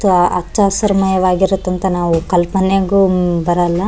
ಹಚ್ಚ ಹಸಿರು ಮಯಾವಾಗಿರುತ್ತಂತ ನಮ್ಮ ಕಲ್ಪನೆಗೂ ಬರೋಲ್ಲ.